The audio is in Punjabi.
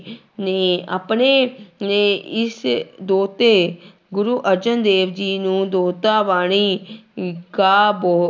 ਨੇ ਆਪਣੇ ਨੇ ਇਸ ਦੋਹਤੇ ਗੁਰੂ ਅਰਜਨ ਦੇਵ ਜੀ ਨੂੰ ਦੋਹਤਾ ਬਾਣੀ ਕਾ ਬੋ